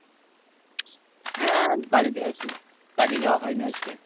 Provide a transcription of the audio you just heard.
হ্যাঁ বাড়িতেই আছি কাজে যাওয়া হয়নাই আজকে?